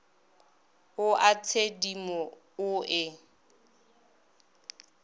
o a tshedimo o e